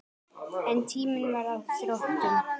En tíminn var á þrotum.